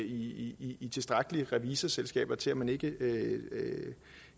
i tilstrækkelig mange revisorselskaber til at man ikke